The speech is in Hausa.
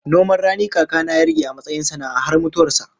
Noman rani kaka na ya rike a matsayin sana'a har mutuwar sa